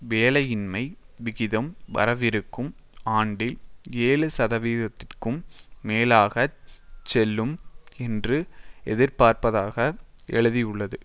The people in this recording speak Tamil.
வேலையின்மை விகிதம் வரவிருக்கும் ஆண்டில் ஏழு சதவிகித்திற்கும் மேலாகச் செல்லும் என்று எதிர்பார்ப்பதாக எழுதியுள்ளது